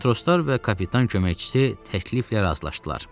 Matroslar və kapitan köməkçisi təkliflə razılaşdılar.